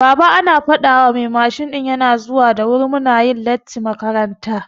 Baba ana fadawa mai mashin ɗin yana zuwa da wuri muna yin lattin makaranta